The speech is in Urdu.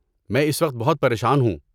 میں اس وقت بہت پریشان ہوں۔